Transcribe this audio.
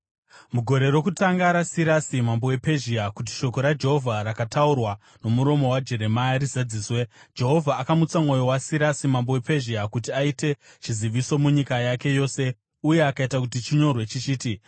Mugore rokutanga raSirasi mambo wePezhia, kuti shoko raJehovha rakataurwa nomuromo waJeremia rizadziswe, Jehovha akamutsa mwoyo waSirasi mambo wePezhia, kuti aite chiziviso munyika yake yose uye akaita kuti chinyorwe chichiti: